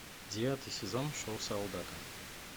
девятый сезон шоу солдаты